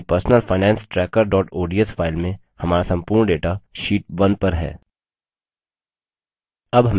अपनी personalfinancetracker ods file में हमारा संपूर्ण data sheet 1 पर है